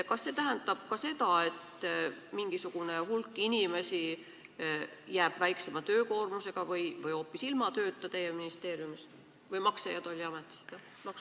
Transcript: Kas see tähendab ka seda, et mingisugune hulk inimesi jääb väiksema töökoormusega või hoopis ilma tööta teie ministeeriumis või Maksu- ja Tolliametis?